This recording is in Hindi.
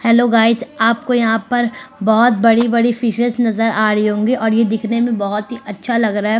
हैलो गाइज आपको यह पर बहोत बड़ी-बड़ी फ़िशेस नजर आा रही होंगी और ये दिखने मे बहुत ही अच्छा लग रहा है।